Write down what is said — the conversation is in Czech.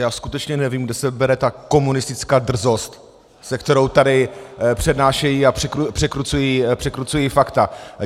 Já skutečně nevím, kde se bere ta komunistická drzost, se kterou tady přednášejí a překrucují fakta.